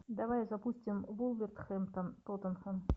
давай запустим вулверхэмптон тоттенхэм